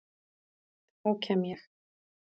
Þá kem ég